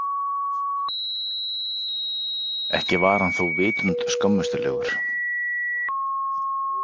Ekki var hann þó vitund skömmustulegur.